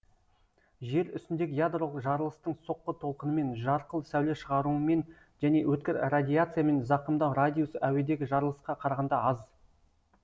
жер үстіндегі ядролық жарылыстың соққы толқынымен жарқыл сәуле шығаруымен және өткір радиациямен зақымдау радиусы әуедегі жарылысқа қарағанда аз